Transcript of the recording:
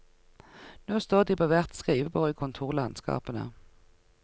Nå står de på hvert skrivebord i kontorlandskapene.